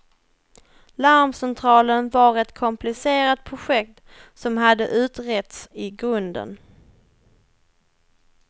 Larmcentralen var ett komplicerat projekt som hade utretts i grunden.